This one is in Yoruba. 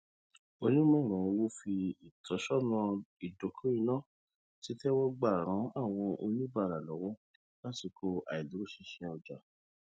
onímọràn owó fi ìtósọnà ìdokoìnà títẹwọgbà ran àwọn oníbàárà lọwọ lásìkò àìdúróṣinṣin ọjà